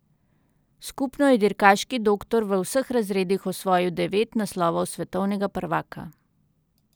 Skupno je dirkaški doktor v vseh razredih osvojil devet naslovov svetovnega prvaka.